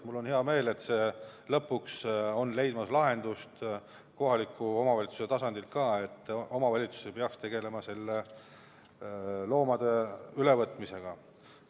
Mul on hea meel, et lõpuks on leidmas lahendust ka kohaliku omavalitsuse tasandil see, et omavalitsus ei peaks tegelema loomade ülevõtmisega.